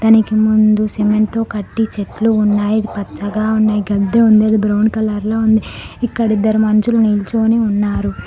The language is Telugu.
దానికి ముందు సిమెంట్ తో కట్టి చెట్లు ఉన్నాయి పచ్చగా ఉన్నాయ్ గద్ధి ఉంది అది బ్రౌన్ కలర్ లో ఉంది ఇక్కడ ఇద్దరు మనుషులు నిల్చోని ఉన్నారు.